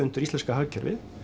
undir íslenska hagkerfið